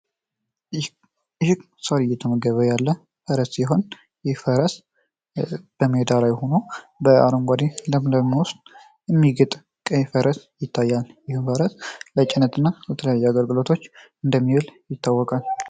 ይህ ሳር እየተመገበ ያለ ፈረስ ሲሆን ይህ ፈረስ በአረንጓዴ ለምለም መሬት ላይ ሆኖ የሚግጥ ቀይ ፈረስ ይታያል ይህ ፈረስ ለጭነትና ለተለያዩ አገልግሎቶች እንደሚል ይታወቃል።